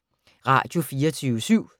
Radio24syv